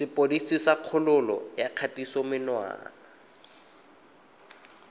sepodisi sa kgololo ya kgatisomenwa